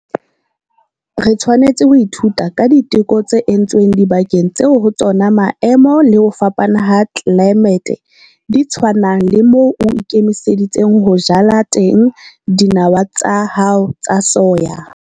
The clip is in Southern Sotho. Re tshwanetse ho ithuta ka diteko tse entsweng dibakeng tseo ho tsona maemo le ho fapana ha tlelaemete di tshwanang le moo o ikemiseditseng ho jala teng dinawa tsa hao tsa soya.